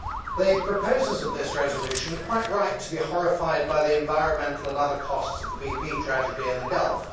The proposers of this resolution are quite right to be horrified by the environmental and other costs of the BP tragedy in the Gulf.